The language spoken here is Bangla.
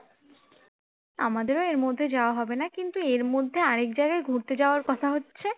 আমাদেরও এর মধ্যে যাওয়া হবে না কিন্তু এর মধ্যে আরেক জায়গায় ঘুরতে যাওয়ার কথা হচ্ছে